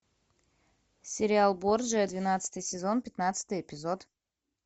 сериал борджиа двенадцатый сезон пятнадцатый эпизод